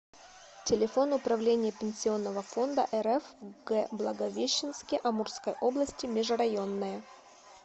телефон управление пенсионного фонда рф в г благовещенске амурской области межрайонное